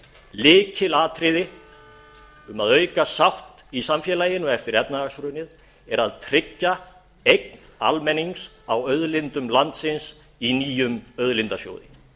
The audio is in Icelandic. lykilatriði um að auka sátt í samfélaginu eftir efnahagshrunið er að tryggja eign almennings á auðlindum landsins í nýjum auðlindasjóði